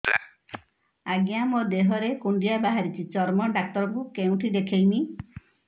ଆଜ୍ଞା ମୋ ଦେହ ରେ କୁଣ୍ଡିଆ ବାହାରିଛି ଚର୍ମ ଡାକ୍ତର ଙ୍କୁ କେଉଁଠି ଦେଖେଇମି